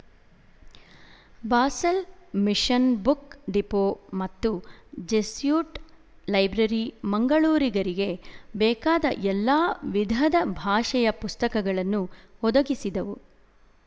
Basel mission book depot ಮತ್ತು Jesuit library ಮಂಗಳೂರಿಗರಿಗೆ ಬೇಕಾದ ಎಲ್ಲಾ ವಿಧದ ಭಾಷೆಯ ಪುಸ್ತಕಗಳನ್ನು ಒದಗಿಸಿದವು